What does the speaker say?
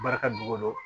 Barika dogo